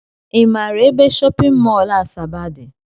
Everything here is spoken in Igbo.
I maara ebe shọpịn mọl Asaba dị?